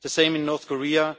The same in North